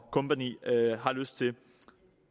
og kompagni har lyst til